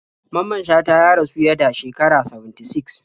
Mamman Shata ya rasu yada shekara 76